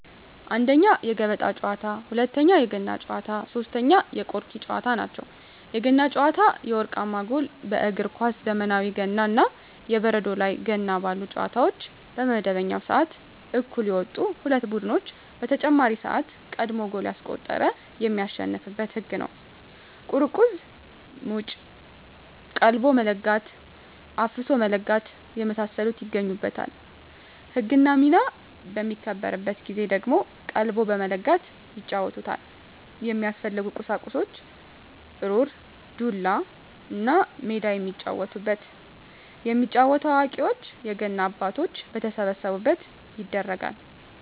1ኛ, የገበጣ ጨዋታ, 2ኛ, የገና ጨዋታ, 3ኛ የቆርኪ ጨዋታ ናቸው። የገና ጨዋታ የወርቃማ ጎል በእግር ኳስ ዘመናዊ ገና እና የበረዶ ላይ ገና ባሉ ጨዋታዎች በመደበኛው ስዓት እኩል የወጡ ሁለት ቡድኖች በተጨማሪ ስዓት ቀድሞ ጎል ያስቆጠረ የሚያሸንፋበት ህግ ነው ቁርቁዝ ሙጭ ,ቀልቦ መለጋት ,አፍሶ መለጋት የመሳሰሉት ይገኙበታል። ህግና ሚና በሚከበርበት ጊዜ ደግሞ ቀልቦ በመለጋት ይጫወቱታል። የሚያስፈልጉ ቁሳቁስ ሩር, ዱላ, እና ሜዳ የሚጫወቱበት። የሚጫወተው አዋቂዎች የገና አባቶች በተሰበሰቡበት ይደረጋል።